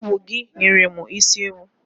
Ọ bụ gị nyere mụ isi ewu.